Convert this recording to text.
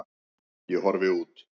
Ég horfi út.